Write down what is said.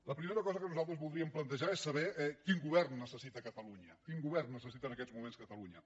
la primera cosa que nosaltres voldríem plantejar és saber quin govern necessita catalunya quin govern necessita en aquests moments catalunya